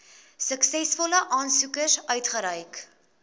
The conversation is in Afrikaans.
suksesvolle aansoekers uitgereik